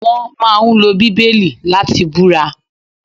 Wón máa ń lo Bíbélì láti búra